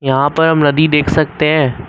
यहां पर हम नदी देख सकते हैं।